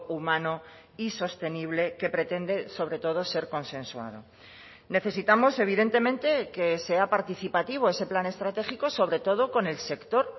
humano y sostenible que pretende sobre todo ser consensuado necesitamos evidentemente que sea participativo ese plan estratégico sobre todo con el sector